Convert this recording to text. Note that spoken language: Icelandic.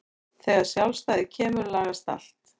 Þegar sjálfstæðið kemur lagast allt.